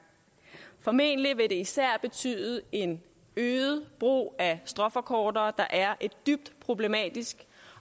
formentlig vil det især betyde en øget brug af stråforkortere der er et dybt problematisk